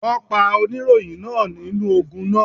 Wọ́n pa oníròyìn náà nínú ogun náà.